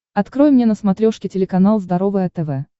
открой мне на смотрешке телеканал здоровое тв